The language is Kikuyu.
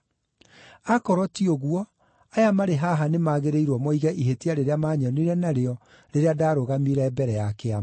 Akorwo ti ũguo, aya marĩ haha nĩmagĩrĩirwo moige ihĩtia rĩrĩa maanyonire narĩo rĩrĩa ndaarũgamire mbere ya Kĩama,